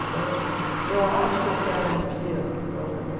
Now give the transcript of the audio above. Então, eu acho que eu quero um dia sei lá também.